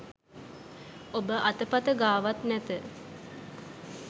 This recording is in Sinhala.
ඔබ අතපත ගාවත් නැත